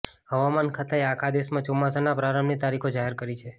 હવામાન ખાતાએ આખા દેશમાં ચોમાસાના પ્રારંભની તારીખો જાહેર કરી છે